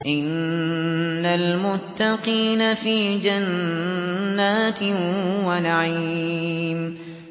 إِنَّ الْمُتَّقِينَ فِي جَنَّاتٍ وَنَعِيمٍ